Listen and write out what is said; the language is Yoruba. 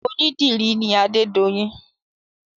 Onídìrí ni adedoyin